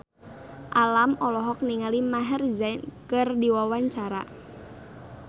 Alam olohok ningali Maher Zein keur diwawancara